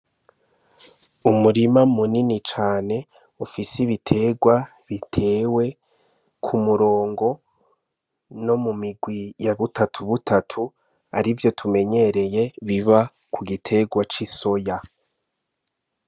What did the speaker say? Umurima mu nini cane ufise ibiterwa bitewe ku murongo no mumirwi ya butatu butatu arivyo tumenyereye biba ku giterwa c'isoya.